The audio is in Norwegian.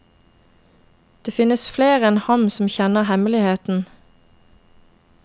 Det finnes flere enn ham som kjenner hemmeligheten.